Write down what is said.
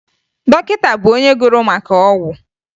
Dọkịta bụ onye gụrụ maka ọgwụ